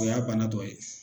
O y'a banna dɔ ye